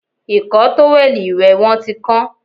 Ìkọ́ tówẹ̀lì ìwẹ̀ wọn tí kán